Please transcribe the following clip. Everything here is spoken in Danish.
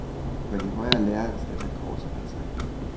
På de højere læreanstalter korser man sig.